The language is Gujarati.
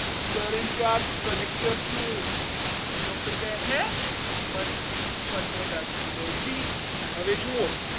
charge collector છું doctor કહે છે મનમોહનદાસજી કહે કે જી હવે જુઓ.